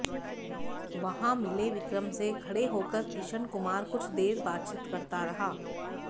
वहां मिले विक्रम से खड़े होकर किशन कुमार कुछ देर बातचीत करता रहा